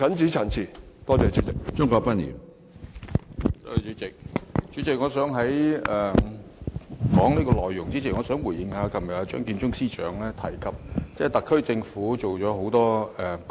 主席，在我就這項議案發言前，我想回應一下張建宗司長昨天的發言，當中提及特區政府做了很多功績。